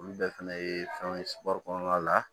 Olu bɛɛ fɛnɛ ye fɛnw ye kɔnɔna la